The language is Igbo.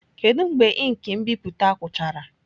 Kedu mgbe ink nbipute gwụchara?